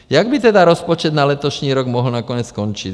Jak by tedy rozpočet na letošní rok mohl nakonec skončit?